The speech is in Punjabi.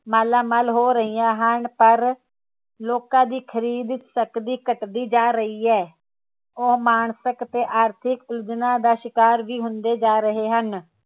ਮਾਲਾਮਾਲ ਹੋ ਰਹੀਆਂ ਹਨ ਪਰ ਲੋਕਾਂ ਦੀ ਖਰੀਦ ਸਕਦੀ ਘਟਦੀ ਜਾ ਰਹੀ ਹੈ ਉਹ ਮਾਨਸਿਕ ਤੇ ਆਰਥਿਕ ਉਲਝਣਾਂ ਦਾ ਸ਼ਿਕਾਰ ਵੀ ਹੁੰਦੇ ਜਾ ਰਹੇ ਹਨ